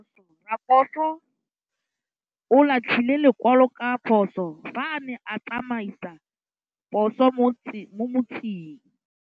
Raposo o latlhie lekwalô ka phosô fa a ne a tsamaisa poso mo motseng.